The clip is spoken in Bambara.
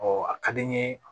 a ka di n ye